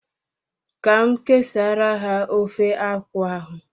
Ka m kesara ha ofe akwu ahu